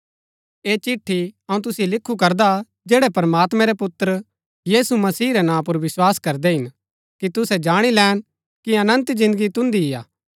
ऐह चिट्ठी अऊँ तुसिओ लिखु करदा जैड़ै प्रमात्मैं रै पुत्र यीशु मसीह रै नां पुर विस्वास करदै हिन कि तुसै जाणी लैन कि अनन्त जिन्दगी तुन्दी ही हा